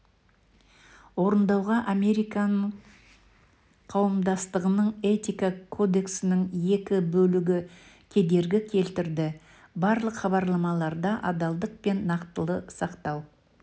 орындауға американың қауымдастығының этика кодексінің екі бөлігі кедергі келтірді барлық хабарламаларда адалдық пен нақтылықты сақтау